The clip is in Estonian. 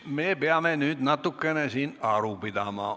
Nüüd me peame siin natukene aru pidama.